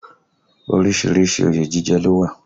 Orísìírísìí òye jíjẹ ló wà